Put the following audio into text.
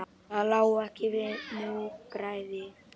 Það lá ekki við múgræði